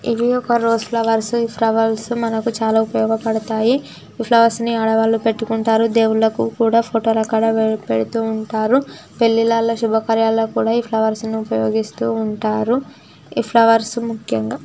ఇవి ఒక rose flowers ఈ ఫ్లవర్స్ మనకి చాలా ఉపయోగ పడతాయి. ఈ ఫ్లవర్స్ ని ఆడ వాళ్ళు పెట్టుకుంటారు దేవుళ్ళకి కూడా పెడుతూ ఫొటో ల కాడ పెడుతూ వుంటారు. పెళ్లిలాల శుభకార్యాలు కూడా ఈ ఫ్లవర్స్ ని ఉపయోగిస్తూ ఉంటారు. ఈ ఫ్లవర్స్ ముక్యంగా--